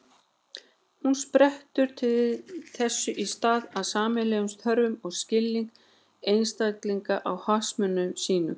Hún sprettur þess í stað af sameiginlegum þörfum og skilningi einstaklinganna á hagsmunum sínum.